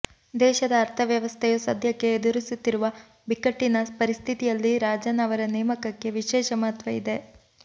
ದೇಶದ ಅರ್ಥ ವ್ಯವಸ್ಥೆಯು ಸದ್ಯಕ್ಕೆ ಎದುರಿಸುತ್ತಿರುವ ಬಿಕ್ಕಟ್ಟಿನ ಪರಿಸ್ಥಿತಿಯಲ್ಲಿ ರಾಜನ್ ಅವರ ನೇಮಕಕ್ಕೆ ವಿಶೇಷ ಮಹತ್ವ ಇದೆ